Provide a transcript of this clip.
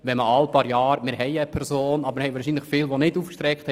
– Wir haben eine Person, aber viele von Ihnen haben die Hand nicht aufgehalten.